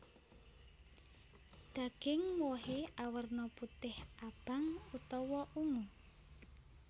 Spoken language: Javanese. Daging wohé awerna putih abang utawa ungu